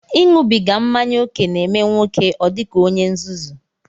Iṅụbiga mmanya ókè na-eme nwoke ọ dị ka onye nzuzu